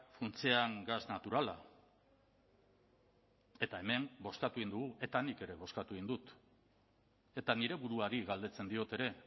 funtsean gas naturala eta hemen bozkatu egin dugu eta nik ere bozkatu egin dut eta nire buruari galdetzen diot ere